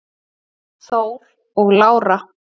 Þór og Lára.